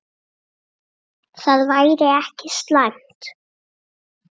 Það væri ekki slæmt.